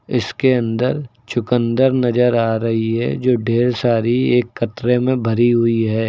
इसके अंदर चुकंदर नजर आ रही है जो ढेर सारी एक कटरे में भरी हुई है।